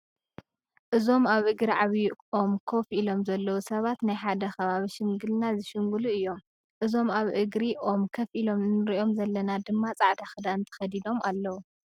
እዞም ኣብ እግሪ ዓብይ ኦም ኮፍ ኢሎም ዘለዉ ሰባት ናይ ሓደ ከባቢ ሽምግልና ዝሽምግሉ እዮም። እዞም ኣብ እግሪ ኦም ከፍ ኢሎ እንሪኦም ዘለና ድማ ፃዕዳ ክዳን ተከዲኖም ኣለዉ።